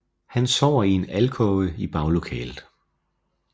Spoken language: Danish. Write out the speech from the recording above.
Han sover i en alkove i baglokalet